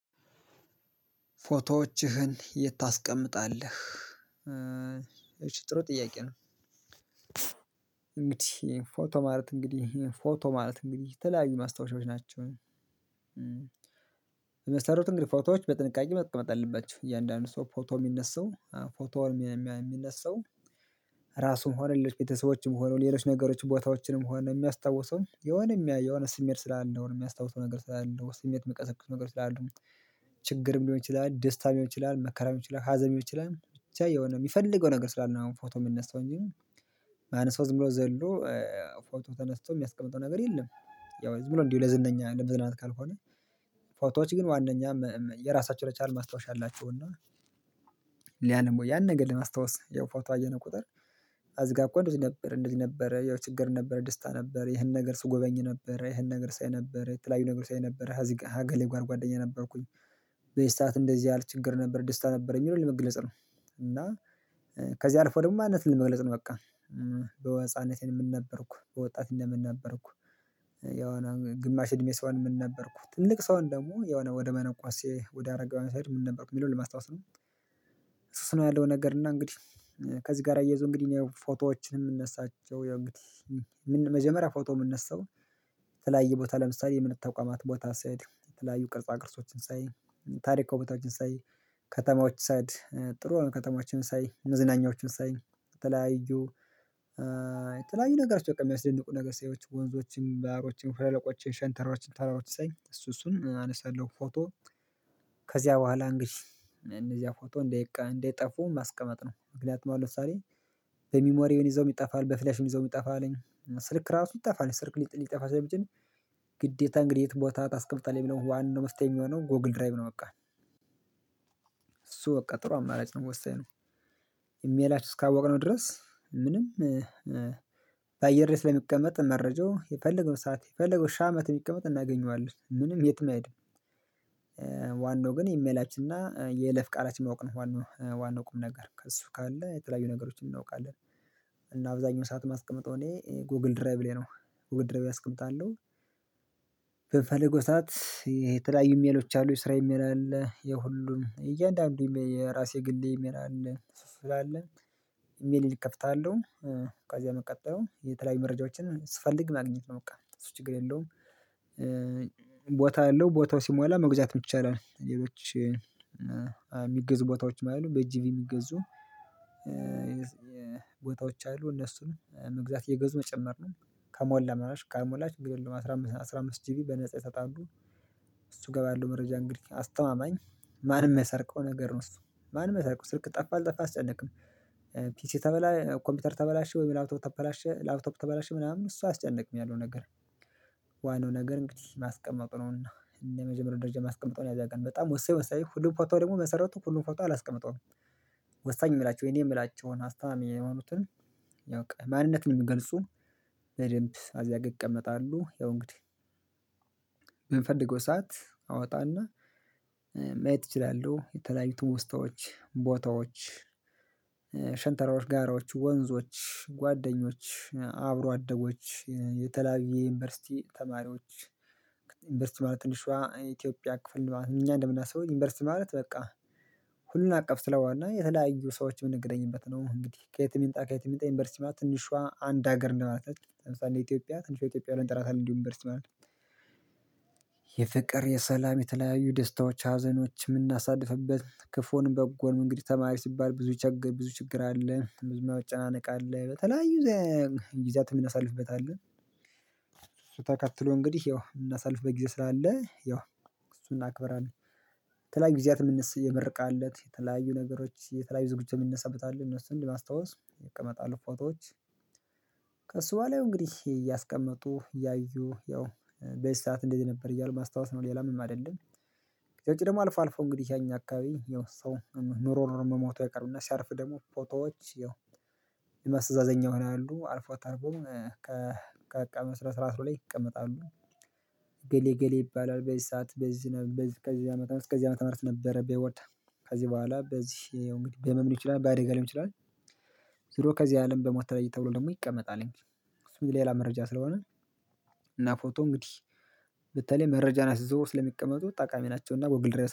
"ፎቶዎችህን የት ታስቀምጣለህ?" እሺ ጥሩ ጥያቄ ነው። እንግዲህ ፎቶ ማለት እንግዲህ ፎቶ ማለት እንግዲህ የተለያዩ ማስታወሻዎች ናቸው። በመሰረቱ እንግዲህ ፎቶዎች በጥንቃቄ መቀመጥ አለባቸው። እያንዳንዱ ሰው ፎቶ የሚነሳው ፎቶ የሚነሳው ራሱም ሆነ ሌሎች ቤተሰቦችም ሆነው ሌሎች ነገሮችን ቦታዎችንም ሆነ የሚያስታውሰውም የሆነ የሆነ ስሜት ስላለ የሆነ የሚያስታውሰው ነገር ስላለው ስሜት ሚቀሰቅሰው ነገር ስላለው ነው። ችግርም ሊሆን ይችላል። ደስታም ሊሆን ይችላል። መከራም ሊሆን ይችላል። ሀዘንም ሊሆን ይችላል። ብቻ የሆነ የሚፈልገው ነገር ስላለ ነው። አሁን ፎቶ የምንነሳው እንጂ ማንም ሰው ዝም ብሎ ዘሎ ፎቶ ተነስቶ የሚያስቀምጠው ነገር የለም። ያው ዝም ብሎ እንዲህ ለዝነኛ ለመዝናናት ካልሆነ ፎቶዎች ግን ዋናኛ የራሳቸውን የቻሉ ማስታወሻ አላቸው። እና ሊያነሙ ያን ነገር ለማስታወስ ያው ፎቶ አየነው ቁጥር አዚጋ እኮ እንደዚህ ነበር እንደዚህ ነበር ያው ችግር ነበር። ደስታ ነበር፤ ይሄን ነገር ስጎበኝ ነበር። ይሄን ነገር ሳይ ነበር። የተለያዩ ነገር ሳይ ነበር። አዚህ ጋር ሀ እገሌ ጋር ጓደኛ ነበርኩኝ። በዚ ሰዓት እንደዚህ ያለ ችግር ነበር። ደስታ ነበረኝ ብሎ ለመግለጽ ነው። እና ከዚህ አልፎ ደግሞ ማንነትን ለመግለጽ ነው በቃ። በወህጻንነቴ ምን ነበርኩ በወጣትነት ምን ነበርኩ ያው ግማሽ እድሜ ሰሆን ምን ነበርኩ ትልቅ ሰሆን ደግሞ የሆነ ወደ መነኩሴ ወደ አረጋዊ ስሄድ ምን ነበርኩ የሚለውን ለማስታወስ ነው እሱ እሱ ነው ያለው ነገር እና እንግዲህ ከዚህ ጋር አያይዞ እንግዲህ እኔ ፎቶዎችን የምነሳቸው የመጀመሪያ ፎቶ የምነሳው የተለያየ ቦታ ለምሳሌ የእምንት ተቋማት ቦታ ሲሄድ የተለያየ ቅርጽ ቅርጾችን ሳይ ታሪካው ቦታዎችን ሳይ ከተማዎች ሳይድ ጥሩ ከተማዎችን ሳይ መዝናኛዎችን ሳይ የተለያዩ የተለያዩ ነገሮች በቃ የሚያስደንቁ ነገር ሰዎችን ወንዞችም ባሀሮችም ሸለቆችን ሸንተረሮችን ተራሮችን ሳይ እሱ እሱን አነሳለሁ ፎቶ ከዚያ በኋላ አንግዲ እነዚያ ፎቶ እንዴት እንዳይጠፉ ማስቀመጥ ነው ምክንያቱም አሁን ለምሳሌ በሚሞሪውን ይዘው ይጠፋል በፍሌሽም ይዘው ይጠፋል ስልክ ራሱ ይጠፋል ስልክ ሊጠፋ ስለሚችል ግዴታ እንግዲህ የትም ቦታ ታስቀምጣለህ ብለው ዋናው መፍትሄ የሚሆነው ጎግል ድራይቭ ነው በቃ እሱ በቃ ጥሩ አማራጭ ነው የምወስደው ኢሜላችን እስካወቅነው ድረስ ምንም በአየር ላይ ስለሚቀመጥ መረጃው የፈለገው ሰዓት የፈለገው ሺ አመት ቢቀመጥ እናገኘዋለን ምንም የትም አይሄድም ዋናው ግን ኢሜላችንና የለፍ ቃላችን ማወቅ ነው ዋናው ቁም ነገር ከእሱ ካለ የተለያዩ ነገሮችን እናውቃለን እና አብዛኛው ሰዓት እማስቀመጥ እኔ ጎግል ድረይቭ ላይ ነው ጎግል ድረይቭ አስቀምጣለሁ በምፈለገው ሰዓት የተለያዩ ሜሎች አሉ የስራ የሚል አለ የሁሉም እያንዳንዱ የራሴ ግሌ ኤሜል አለ ስላለ ኢሜል እከፍታለሁ ከዚያ መቀጠሉ የተለያዩ መረጃዎችን ስፈልግ ማግኘት ነው በቃ እሱ ችግር የለውም ቦታ አለው ቦታው ሲሞላ መግዛት ይቻላል ሌሎች የሚገዙ ቦታዎች አሉ በእጂ የሚገዙ ቦታዎች አሉ እነሱንም መግዛት እየገዙ መጨመር ነው ከሞላ መላሽ ካልሞላ አስራ አምስት አስራ አምስት ጂቢ በነፃ ይሰጣሉ እሱ እገባለሁ መረጃ እንግዲህ አስተማማኝ ማንም የማይሰርቀው ነገር ነው እሱ ማንም አየሰርቀው ስልክ ጠፋ አልጠፋ አያስጨነቅም ተበላ ኮምፒውተር ተበላሸ ወይ ላፕቶፕ ተበላሸ ላፕቶፕ ተበላሸ ምናምን እሱ አያስጨንቅም ያለው ነገር ዋናው ነገር እንግዲህ ማስቀመጥ ነውና እና ለመጀመሪያ ደረጃ ማስቀመጠውን ያዘጋል በጣም ወሳኝ ወሳኝ ሁሉም ፎቶ ደግሞ መሰረቱ ሁሉም ፎቶ አላስቀምጠውም ወሳኝ የምላቸው የኔ የምላቸውን አስታማማኝ የሆኑትን ያው ማንነት ነው የምገልጹ በደንብ አዚያጋ ይቀመጣሉ ያው እንግዲህ የምንፈልገው ሰዓት አወጣና ማየት እችላለሁ የተለያዩ ትዉስታዎች ቦታዎች ሸንተረሮች ጋራዎች ወንዞች ጓደኞች አብሮ አደጎች የተለያዩ የዩኒቨርሲቲ ተማሪዎች ዩኒቨርሲቲ ማለት ትንሿ ኢትዮጵያ ክፍል ማለት ነው እኛ እንደምናስበው ዩኒቨርሲቲ ማለት በቃ ሁሉን አቀፍ ስለሆነ የተለያዩ ሰዎች የምንገናኝበት ነው እንግዲህ ከየት ይምጣ ከየትም የምጣ ዩኒቨርሲቲ በላይ ትንሿ አንድ ሀገር እንደ ማለት ነው ኢትዮጵያ ትንሿ ኢትዮጵያ ላይ ብለን እንጠራታለን እንዲሁ ዩንቨርስቲ ማለት የፍቅር የሰላም የተለያዩ ደስታዎች ሀዘኖች የምናሳልፍበት ክፉን በጎን እንግዲህ ተማሪ ሲባል ብዙ ችግር ብዙ ችግር አለ ብዙ መጨናነቅ አለ በተለያዩ ዘይ ግዚያትም ያምናሳልፍበት አለ ተከትሎ እንግዲህ ያው እናሳልፍበት ጊዜ ስላለ አለ ያው እሱን እናክብራለን የተለያዩ ጊዜያት የምርቃት ለት የተለያዩ ነገሮች የተለያዩ ዝግጅቶች የሚነሳበት አለ እነሱን ለማስታወስ ይቀመጣሉ ፎቶዎች ከሱ በኋላ ያው እንግዲህ እያስቀመጡ እያዩ ያው በዚ ሰዓት እንደዚህ ነበር እያሉ ማስታወስ ነው ሌላም ምንም አደለም ከዉጭ ደግሞ አልፎ አልፎ እንግዲህ ያኛ አካባቢ የውስጥ ሰው ኖሮ ኖሮ የው መሞቱ አይቀርምና ሲያርፍ ደግሞ ፎቶዎች ያው የማስተዛዘኛ ሆነ ያሉ አልፎ ተርፎም ከአቀም ስነ ስረት በላይ ይቀመጣሉ ገሌ ገሌ ይባላል በዚህ ሰዓት በዚህ ከዚህ አመት እስከዚህ አመት ነበር ቢወጣ ከዚህ በኋላ በዚህ እንግዲህ በህመም ሊሆን ይችላል በአደጋ ሊሆን ይችላል ዙሮ ከዚህ አለም በሞት ተለይ ተብሎ ደግሞ ይቀመጣልኝ እሱ ሌላ መረጃ ስለሆነ እና ፎቶ እንግዲህ በተለይ መረጃን አስይዘው ስለሚቀመጡ ጠቃሚ ናቸውና ጎግል ድሬስ